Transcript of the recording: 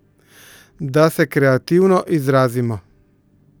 Da se kreativno izrazimo?